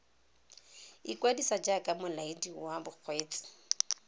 ikwadisa jaaka molaedi wa bokgweetsi